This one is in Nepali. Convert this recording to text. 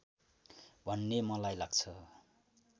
भन्ने मलाई लाग्छ